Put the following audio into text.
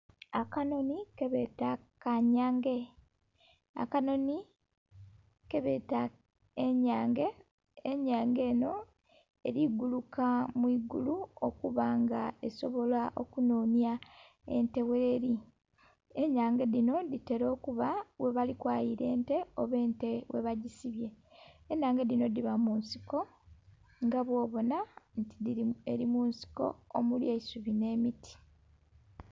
Akanhonhi kebeta kanhyange, akanhonhi kebeta enyange, enhyange enho eli guluka mwiigulu okuba nga esobola okunhonhya ente gheli, enhyange dhinho dhitera okuba ghebali kwayila ente oba ente gheba dhisibye, enhange dhinho dhiba munsiko nga bwobona eri munsiko omuli eisubi nhe miti.